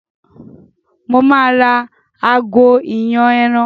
Mo máa ra àgò ìyàn ẹran